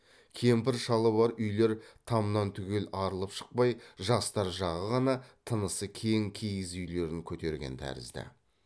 кемпір шалы бар үйлер тамнан түгел арылып шықпай жастар жағы ғана тынысы кең киіз үйлерін көтерген тәрізді